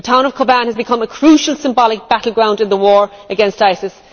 The town of Kobane has become a crucial symbolic battleground in the war against ISIS.